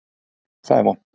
Það er vont.